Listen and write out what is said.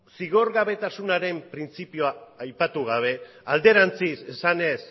zigorgabetasunaren printzipioa aipatu gabe alderantziz esanez